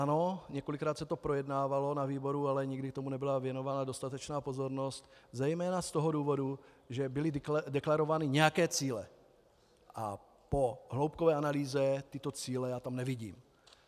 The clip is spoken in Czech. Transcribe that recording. Ano, několikrát se to projednávalo na výboru, ale nikdy tomu nebyla věnována dostatečná pozornost, zejména z toho důvodu, že byly deklarovány nějaké cíle, a po hloubkové analýze tyto cíle já tam nevidím.